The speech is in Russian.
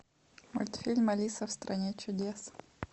мультфильм алиса в стране чудес